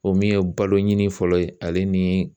O min ye baloɲini fɔlɔ ye ale ni